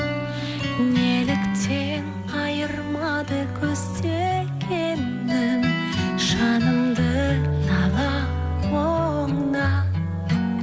неліктен айырмады көздегенің жанымды талап мұңнан